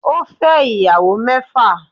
Ó fẹ́ ìyàwó mẹ́fà